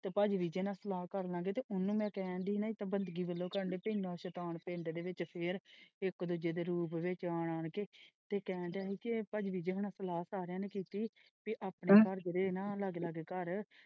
ਤੇ ਭਾਜੀ ਵੀ ਕਹਿੰਦੇ ਕੀ ਸਲਾਹ ਕਰ ਲਾ ਗਏ ਤੇ ਉਹਨਾਂ ਨੇ ਕਹਿਣ ਡਇ ਹਾਂ ਬੰਦਗੀ ਵਲੋਂ ਸਾਡੇ ਸ਼ੈਤਾਨ ਪਿੰਡ ਦੇ ਵਿੱਚ ਫੇਰ ਇੱਕ ਦੂਜੇ ਦੇ ਰੂਪ ਵਿੱਚ ਆਣ ਆਣ ਕੇ ਤੇ ਕਹਿਣ ਡਯਾ ਕਿ ਭਾਜੀ ਨਾਲ ਸਲਾਹ ਸਾਰੀਆਂ ਨਾਲ ਕੀਤੀ ਕੀ ਆਪਣੇ ਸਾਜਰੇ ਨੇ ਲਗੇ ਲਗੇ ਘਰ।